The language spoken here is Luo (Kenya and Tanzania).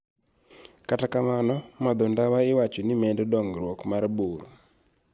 . Kata kamano, madho ndawa iwacho ni medo dongruok mar bur